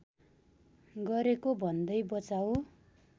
गरेको भन्दै बचाउ